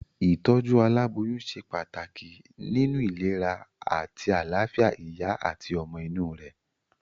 Ìtójú aláboyún se pàtàkì nínu ìlera àti àláfìa ìyá àti ọmọ inú rè